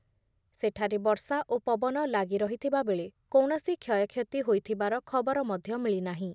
ସେଠାରେ ବର୍ଷା ଓ ପବନ ଲାଗି ରହିଥିବା ବେଳେ କୌଣସି କ୍ଷୟକ୍ଷତି ହୋଇଥିବାର ଖବର ମଧ୍ୟ ମିଳିନାହିଁ ।